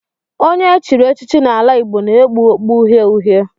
Onye e chiri echichi n'ala Igbo na-ekpu okpu uhie uhie